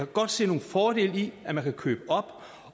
godt se nogle fordele i at man kan købe op